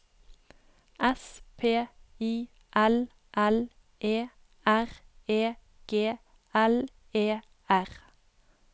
S P I L L E R E G L E R